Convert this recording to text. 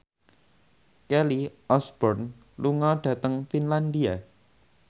Kelly Osbourne lunga dhateng Finlandia